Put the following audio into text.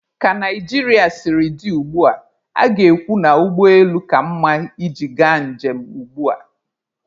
Ka Naijiria siri dị ugbua, a ga-ekwu na ụgbọ elu ka mma iji ga njem ugbua.